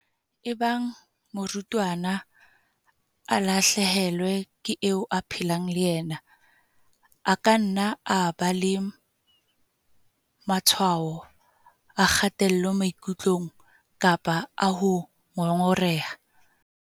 "Ebang morutwana a lahle helwa ke eo a phelang le yena, a ka nna a ba le matshwao a kgatello maikutlong kapa a ho ngongoreha."